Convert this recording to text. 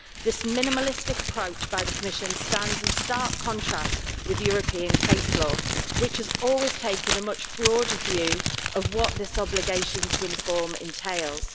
This minimalistic approach by the Commission stands in stark contrast with European case law, which has always taken a much broader view of what this obligation to inform entails.